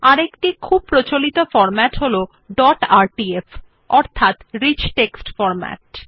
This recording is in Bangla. আরেকটি খুব প্রচলিত ফরম্যাট হল ডট আরটিএফ অর্থাৎ রিচ টেক্সট ফরম্যাট